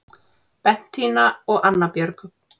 Bentína og Anna Björg